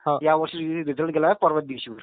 यावर्षी रिझल्ट गेलाय परवा च्या दिवशी वर वीस तारखेला.